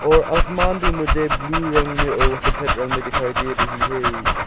और आसमान भी मुझे ब्लू रंग में और सफेद रंग में दिखाई दे रही है।